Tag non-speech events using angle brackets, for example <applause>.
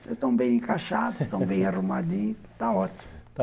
Vocês estão bem encaixados, <laughs> estão bem arrumadinhos, está ótimo.